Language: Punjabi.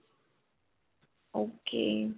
ok.